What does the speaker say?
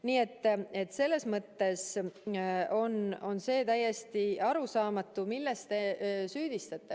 Nii et selles mõttes on see täiesti arusaamatu, milles te mind süüdistate.